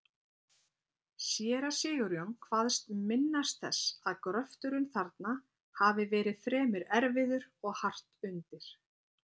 Séra Sigurjón kvaðst minnast þess, að gröfturinn þarna hafi verið fremur erfiður og hart undir.